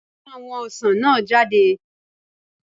Tú àwọn ọsàn náà jáde